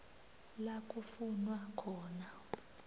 la kufunwa khona